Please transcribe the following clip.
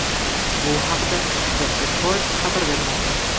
Bu haqda The Record xabar bermoqda .